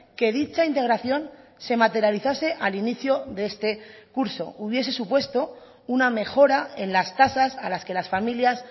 que dicha integración se materializase al inicio de este curso hubiese supuesto una mejora en las tasas a las que las familias